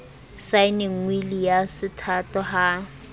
saenneng wili ya sethato ha